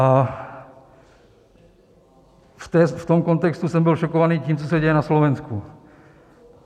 A v tom kontextu jsem byl šokovaný tím, co se děje na Slovensku.